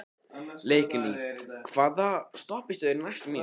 Leikný, hvaða stoppistöð er næst mér?